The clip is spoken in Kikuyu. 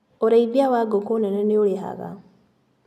ũrĩithia wangũkũ nene nĩũrĩhaga.